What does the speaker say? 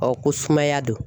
ko sumaya don.